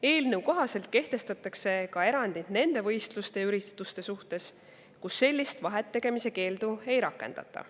Eelnõu kohaselt kehtestatakse erandid nendele võistlustele ja üritustele, kus sellist vahet tegemise keeldu ei rakendata.